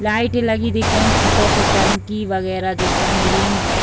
लाइटें लगी दिख रही है छतो पर टंकी वगैरा दिख रही है ग्रीन --